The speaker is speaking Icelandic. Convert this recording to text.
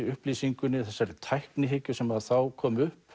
upplýsingunni þessari tæknihyggju sem þá kom upp